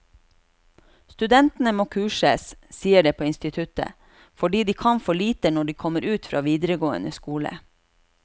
Studentene må kurses, sies det på instituttet, fordi de kan for lite når de kommer ut fra videregående skole.